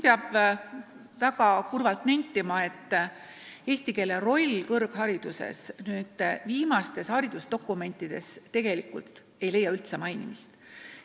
Peab väga kurvalt nentima, et eesti keele roll kõrghariduses ei leia viimastes haridusdokumentides üldse mainimist.